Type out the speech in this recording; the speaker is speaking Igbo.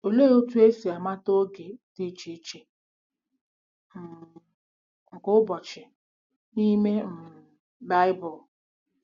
Olee otú e si mata oge dị iche iche um nke ụbọchị n'ime um Bible?